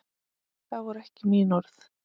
Það voru ekki mín orð.